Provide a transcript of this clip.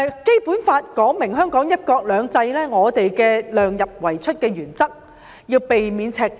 《基本法》訂明香港實行"一國兩制"，財政預算以量入為出為原則，避免赤字。